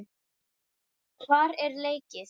Hvar er leikið?